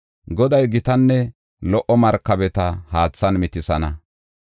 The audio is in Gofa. Goday gitanne lo77o markabeta haathan mitisana.